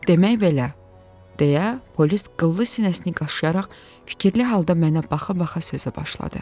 Demək belə, deyə polis qıllı sinəsini qaşıyaraq fikirli halda mənə baxa-baxa sözə başladı.